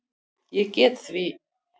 Ég get því